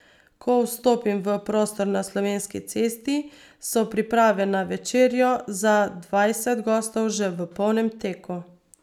Ko vstopim v prostor na Slovenski cesti, so priprave na večerjo za dvajset gostov že v polnem teku.